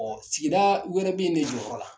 sigida wɛrɛ bɛ ne jɔ o yɔrɔ la.